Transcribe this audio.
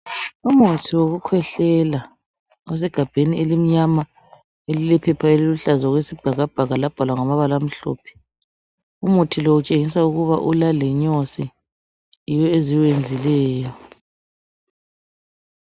Umuthi wokukhwehlela elisegabheni elimnyama elilephepha eliluhlaza labhalwa ngamabala amhlophe. Umuthi lowu utshengisa ukuba lenyosi yiwo eziwenzileyo.